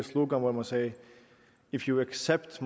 slogan hvor man sagde if you accept